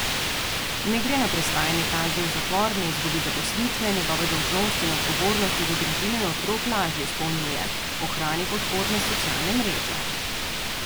Ne gre na prestajanje kazni v zapor, ne izgubi zaposlitve, njegove dolžnosti in odgovornosti do družine in otrok lažje izpolnjuje, ohrani podporne socialne mreže.